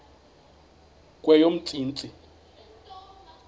kweyomntsintsi